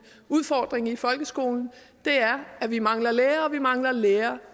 udfordring i folkeskolen er at vi mangler lærere og at vi mangler lærere